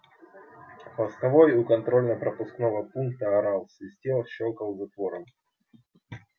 постовой у контрольно пропускного пункта орал свистел щёлкал затвором